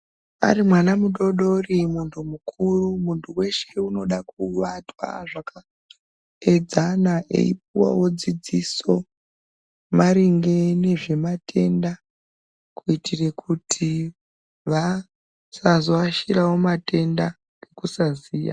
Ari mwana mudoodori, munthu mukuru. Munthu weshe unoda kuvatwa zvakaedzana eipuwawo dzidziso maringe nezvematenda kuitire kuti vasazoashirawo matenda nekusaziya.